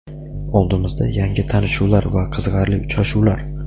Oldimizda - yangi tanishuvlar va qiziqarli uchrashuvlar.